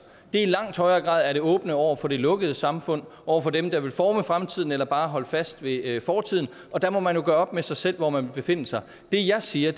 er i langt højere grad det åbne over for det lukkede samfund over for dem der vil forme fremtiden eller bare holde fast ved fortiden og der må man jo gøre op med sig selv hvor man vil befinde sig det jeg siger